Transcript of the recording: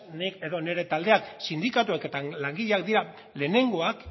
nik edo nire taldeak sindikatuek langileak dira lehenengoak